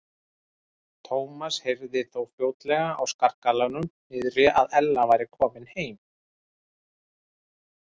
Thomas heyrði þó fljótlega á skarkalanum niðri að Ella væri komin heim.